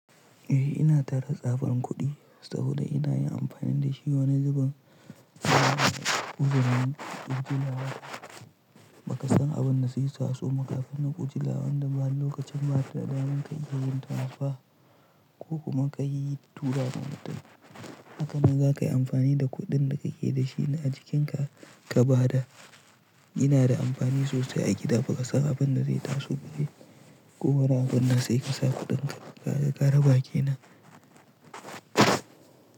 Eh ina tare tsaban kuɗi saboda ina yin amfani da shi wane zubin ba ka san abin da zai taso ma kafin na kujilawan da ba lokacin ba da daman ka iya ziyartar fa ko kuma ka yi turara motar haka nan za ka yi amfani da kuɗin da ka ke da shi na a jikinka ka ba da ina da amfani sosai a gida ba ka san abin da zai taso gobe ko wane abun da zai kasa kuɗinka. Kaga ka raba kenan.